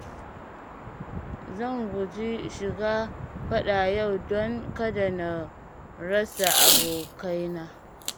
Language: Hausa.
Zan guji shiga faɗa yau don kada na rasa abokaina.